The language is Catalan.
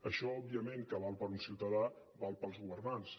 això òbviament que val per a un ciutadà val per als governats